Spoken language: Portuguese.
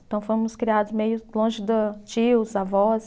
Então fomos criados meio longe do tios, avós.